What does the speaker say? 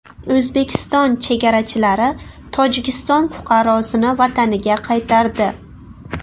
O‘zbekiston chegarachilari Tojikiston fuqarosini vataniga qaytardi.